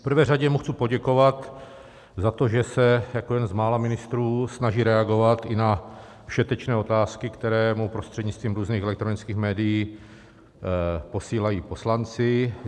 V prvé řadě mu chci poděkovat za to, že se jako jeden z mála ministrů snaží reagovat i na všetečné otázky, které mu prostřednictvím různých elektronických médií posílají poslanci.